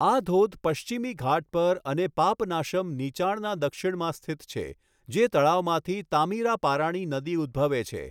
આ ધોધ પશ્ચિમી ઘાટ પર અને પાપનાશમ નીચાણના દક્ષિણમાં સ્થિત છે, જે તળાવમાંથી તામીરાપારાણી નદી ઉદ્ભવે છે.